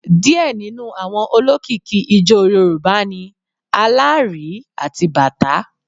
Díẹ̀ nínú àwọn olókìkí ijó Yorùbá ni Alárìí àti bàtá.